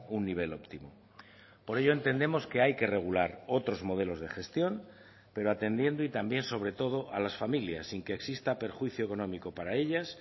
un nivel óptimo por ello entendemos que hay que regular otros modelos de gestión pero atendiendo y también sobre todo a las familias sin que exista perjuicio económico para ellas